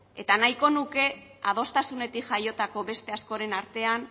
eta nahiko nuke adostasunetik jaiotako beste askoren artean